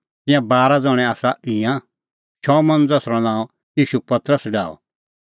तिंयां बारा ज़ण्हैं आसा ईंयां शमौन ज़सरअ नांअ ईशू पतरस डाहअ